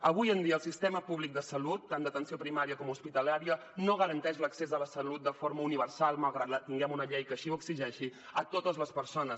avui en dia el sistema públic de salut tant d’atenció primària com hospitalària no garanteix l’accés a la salut de forma universal malgrat que tinguem una llei que així ho exigeixi a totes les persones